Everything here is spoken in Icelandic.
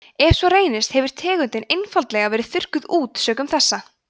ef svo reynist hefur tegundin einfaldlega verið þurrkað út sökum þessa